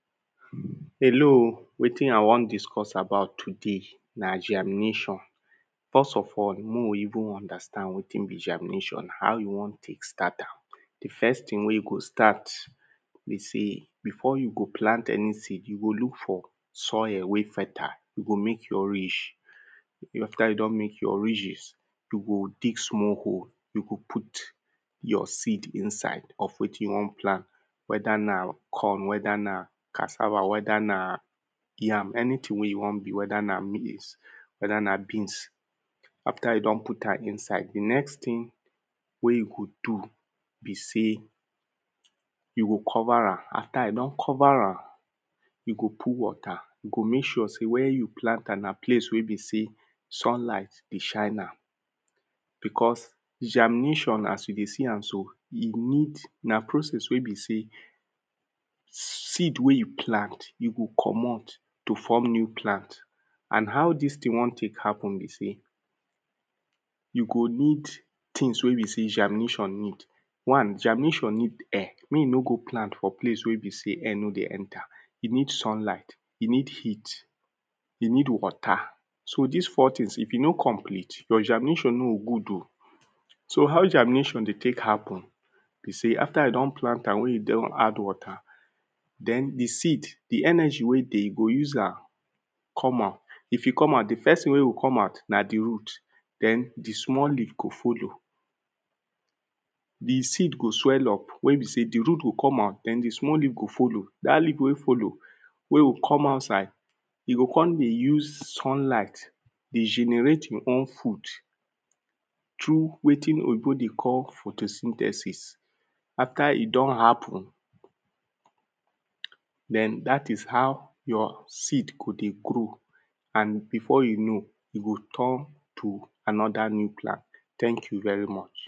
Hello wetin i wan discuss about today na germination. First of all, mey we even understand wetin be germination. How you wan take start am? The first thing wey you go start be sey? before you go plant any seed, you go look for soil wey fertile. You go make your ridge. After you don make your ridges, you go dig small hole. You go put your seed inside of wetin you wan plant. Whether na corn, whether na cassave, whether na yam. Anything wey e wan be. Whether na maize, whether na beans. After you don put am inside. The next thing wey you go do be sey you go cover am. After you don cover am you go put water. You go make sure sey where you plant am, na place wey be sey sunlight dey shine am because germination as you dey see am so, e need, na process wey be sey seed wey you plant, you go comot to form new plant. And how this thing wan take happen be sey you go need things wey be sey germination need. One, germination need air. Mey you no go plant for place wey be sey air no dey enter. E need sunlight, e need heat, e need water. So dis four things if e no complete, your germination no go good oh. So, how germination dey take happen be sey after you don plant wey you don add water Den the seed, the energy wey dey, e go use am come out. If e come out, the first thing wey e go come out na the root. Den the small leaf go follow. The seed go swell up wey be sey the root go come out den the small leaf go follow. Dat leaf wey follow wey go come outside e go con dey use sunlight dey generate e own food through wetin oyinbo dey call photosynthesis. After e don happen. Den dat is how your seed go dey grow. and before you know e go turn to another new plant. Thank you very much.